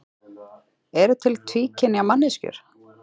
Eru til tvíkynja manneskjur?